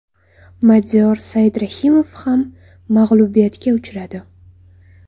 Madiyor Saidrahimov ham mag‘lubiyatga uchradi.